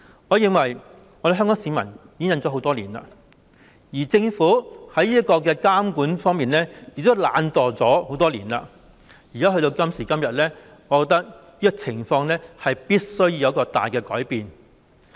我認為香港市民已經忍受多年，政府在監管方面亦懶惰多年，到今時今日，我覺得這種情況必須作出大改變。